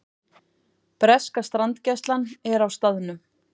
Breska strandgæslan er á staðnum